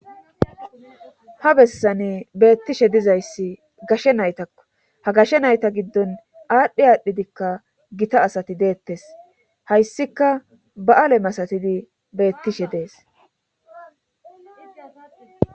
ha bessane beettishe dizayssi gashe naytakko ha gashe nayta giddon aadhdhe aadhdhidikka gita asati deettes hayssika ba7aale masatidi beettishe dees